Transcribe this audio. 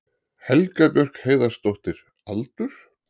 Helga Björk Heiðarsdóttir Aldur?